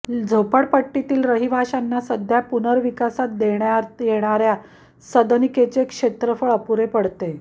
झोपडपट्टीतील रहिवाश्यांना सध्या पुनर्विकासात देण्यात येणाऱ्या सदनिकेचे क्षेत्रफळ अपुरे पडते